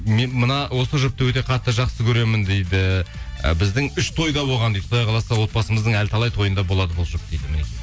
мына осы жұпты өте қатты жақсы көремін дейді і біздің үш тойда болған дейді құдай қаласа отбасымыздың әлі талай тойында болады бұл жұп дейді